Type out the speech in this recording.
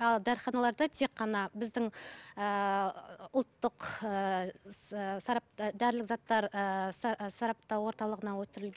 ал дәріханаларда тек қана біздің ііі ұлттық ііі сарап дәрілік заттар ііі сараптау орталығына ііі